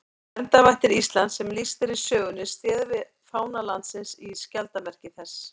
Verndarvættir Íslands sem lýst er í sögunni styðja við fána landsins í skjaldarmerki þess.